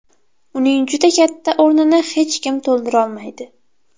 Uning juda katta o‘rnini hech kim to‘ldirolmaydi.